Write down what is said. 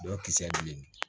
Dɔw kisɛ bilennin